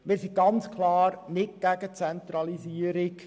Wir sind klar nicht gegen die Dezentralisierung.